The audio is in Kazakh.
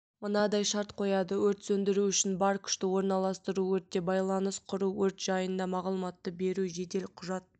мынандай шарт қояды өрт сөндіру үшін бар күшті орналыстыру өртте байланыс құру өрт жайында мағлұматты беру жедел құжат